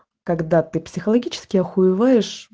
когда ты психологически охуеваешь